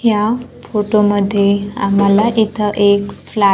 या फोटो मध्ये आम्हाला इथं एक फ्लॅ--